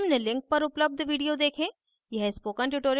निम्न link पर उपलब्ध video देखें